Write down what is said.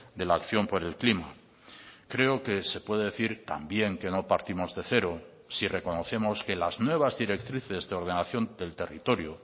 de la acción por el clima creo que se puede decir también que no partimos de cero si reconocemos que las nuevas directrices de ordenación del territorio